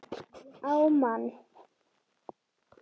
Á mann.